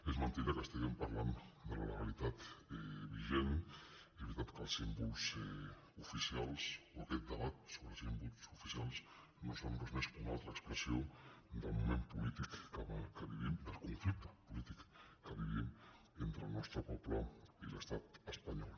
és mentida que estiguem parlant de la legalitat vigent és veritat que els símbols oficials o aquest debat sobre símbols oficials que no són res més que una altra expressió del moment polític que vivim del conflicte polític que vivim entre el nostre poble i l’estat espanyol